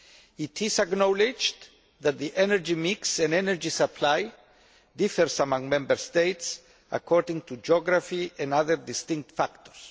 It is acknowledged that the energy mix and energy supply differs among Member States according to geography and other distinct factors.